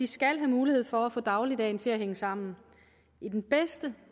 skal have mulighed for at få dagligdagen til at hænge sammen i den bedste